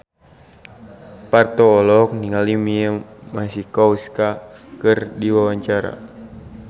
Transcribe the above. Parto olohok ningali Mia Masikowska keur diwawancara